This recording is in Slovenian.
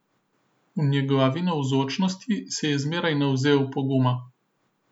V njegovi navzočnosti se je zmeraj navzel poguma.